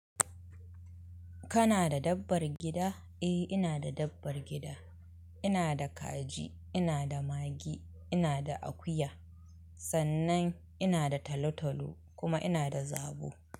Kana da dabbar gida? Eh ina da dabbar gida. Ina da kaji, ina da mage, ina da akuya. Sannan ina da talotalo kuma ina da zabo.